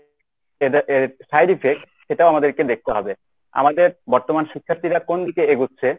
এর যে side effect সেটাও আমাদেরকে দেখতে হবে। আমাদের বর্তমান শিক্ষার্থীরা কোন দিকে এগুচ্ছে